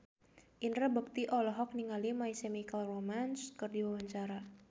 Indra Bekti olohok ningali My Chemical Romance keur diwawancara